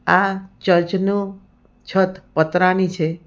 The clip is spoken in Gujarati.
આ ચર્ચ નું છત પતરાની છે.